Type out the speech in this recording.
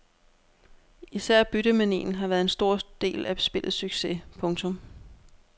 Især byttemanien har været en stor del af spillets succes. punktum